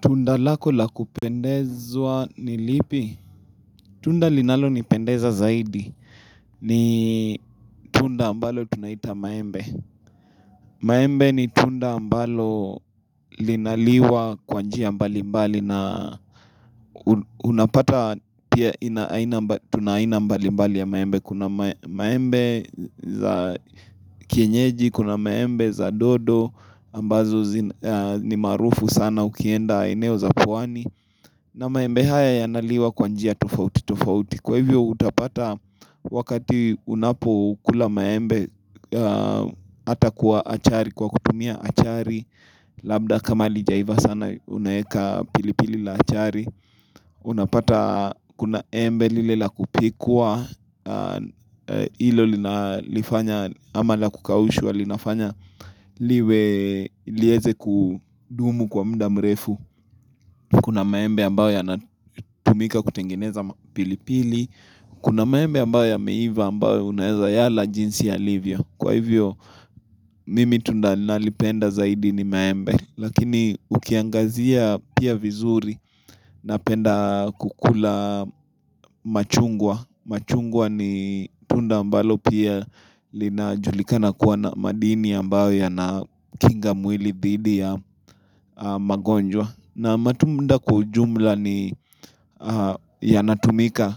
Tunda lako la kupendezwa ni lipi? Tunda linalonipendeza zaidi. Ni tunda ambalo tunaiita maembe. Maembe ni tunda ambalo linaliwa kwa njia mbali mbali na unapata pia tuna aina mbali mbali ya maembe. Kuna maembe za kienyeji, kuna maembe za dodo, ambazo ni maarufu sana ukienda eneo za pwani. Na maembe haya yanaliwa kwa njia tofauti tofauti. Kwa hivyo utapata wakati unapokula maembe ata kwa achari, kwa kutumia achari Labda kama halijaiva sana unaeka pilipili la achari Unapata kuna embe lile la kupikwa hilo linalifanya ama lakukaushwa linafanya liwe lieze kudumu kwa muda mrefu Kuna maembe ambayo yanatumika kutengeneza pilipili Kuna maembe ambayo yameiva ambayo unaeza yala jinsi yalivio. Kwa hivyo mimi tunda nalipenda zaidi ni maembe. Lakini ukiangazia pia vizuri napenda kukula machungwa, machungwa ni tunda ambalo pia linajulikana kuwa na madini ambayo yanakinga mwili dhidi ya magonjwa na matunda kwa ujumla ni yanatumika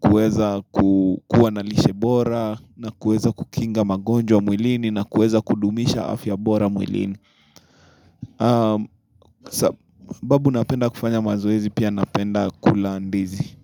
kueza kukua na lishebora na kuweza kukinga magonjwa mwilini na kuweza kudumisha afya bora mwilini sababu napenda kufanya mazoezi pia napenda kula ndizi.